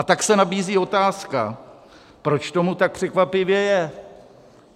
A tak se nabízí otázka, proč tomu tak překvapivě je.